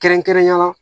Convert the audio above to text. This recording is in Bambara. Kɛrɛnkɛrɛnnenya la